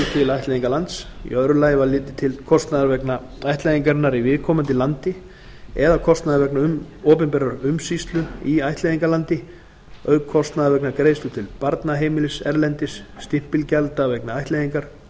til ættleiðingarlands í öðru lagi var litið til kostnaðar vegna ættleiðingarinnar í viðkomandi landi eða kostnaðar vegna opinberrar umsýslu í ættleiðingarlandi auk kostnaðar vegna greiðslu til barnaheimilis erlendis stimpilgjalda vegna ættleiðingar